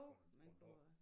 På en på en dag